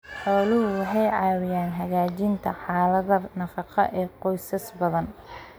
Xooluhu waxay caawiyaan hagaajinta xaaladda nafaqo ee qoysas badan.